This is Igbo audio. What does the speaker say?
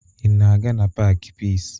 Ị na-aga na paakị Piisi?